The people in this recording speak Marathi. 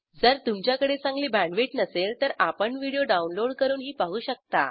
जर तुमच्याकडे चांगली बॅण्डविड्थ नसेल तर आपण व्हिडिओ डाउनलोड करूनही पाहू शकता